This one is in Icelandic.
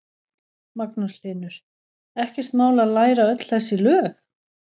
Magnús Hlynur: Ekkert mál að læra öll þessi lög?